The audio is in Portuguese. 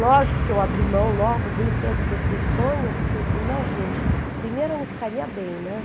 Lógico que eu abri mão logo bem cedo desse sonho, porque eu dizia, imagine, primeiro eu não ficaria bem, né?